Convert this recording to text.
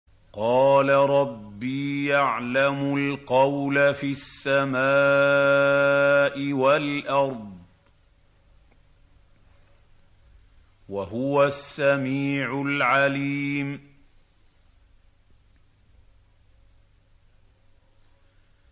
قَالَ رَبِّي يَعْلَمُ الْقَوْلَ فِي السَّمَاءِ وَالْأَرْضِ ۖ وَهُوَ السَّمِيعُ الْعَلِيمُ